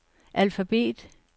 alfabet